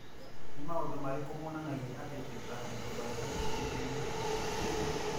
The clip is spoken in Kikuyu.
Nĩ maũndũ marĩkũ monanagia atĩ Tetrahydrobiopterin nĩ ĩnyihĩte?